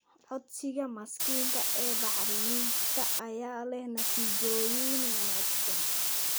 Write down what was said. Codsiga mashiinka ee bacriminta ayaa leh natiijooyin wanaagsan.